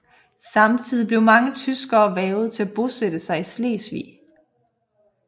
Samtidig blev mange tyskere hvervet til at bosætte sig i Slesvig